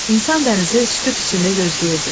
İnsan dənizi sükut içində gözləyirdi.